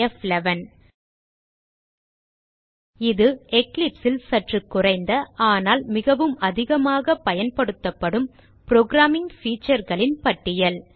ப்11 இது Eclipse ல் சற்று குறைந்த ஆனால் மிகவும் அதிகமாக பயன்படுத்தப்படும் புரோகிராமிங் featureகளின் பட்டியல்